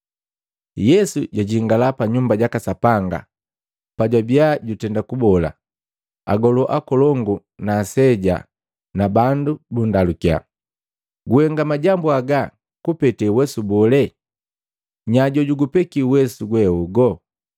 Yesu jwajingala pa Nyumba jaka Sapanga, pajwabia jutenda kubola, agolu akolongu na aseja ba bandu bundalukia, “Guhenga majambu haga kupete uwesu bole? Nya jojugupeki uwesu gwehogu?”